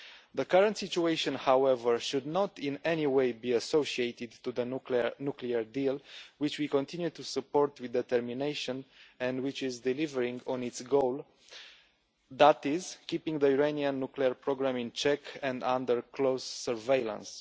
The current situation, however, should not in any way be associated with the nuclear deal, which we continue to support with determination and which is delivering on its goal, that is, keeping the Iranian nuclear programme in check and under close surveillance.